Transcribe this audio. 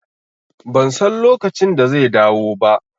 Ban san lokacin da zai dawo ba